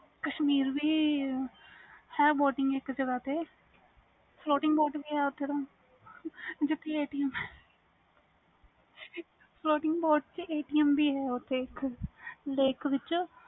ਕਸ਼ਮੀਰ ਚ ਹੈ ਇਕ ਜ੍ਹਗਾ ਤੇ ਓਥੇ spotting boat ਵੀ ਹੈ spotting boat ਵਿਚ ਇਕ atm ਵੀ ਹੈ lake ਵਿਚ